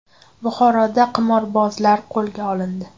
Buxoroda qimorbozlar qo‘lga olindi.